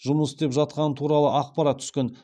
жұмыс істеп жатқаны туралы ақпарат түскен